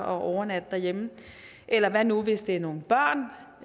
overnatte derhjemme eller hvad nu hvis det er nogle børn